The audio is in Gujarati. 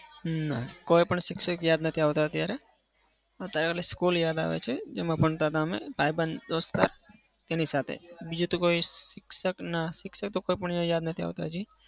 હમ નાં કોઈ પણ શિક્ષક યાદ નથી આવતા અત્યારે. અત્યારે પેલી school યાદ આવે છે. જેમાં ભણતા હતા અમે ભાઇબંધ દોસ્તાર તેની સાથે. બીજું તો કોઈ શિક્ષક ના. શિક્ષક તો કોઈ પણ યાદ નથી આવતા હજી.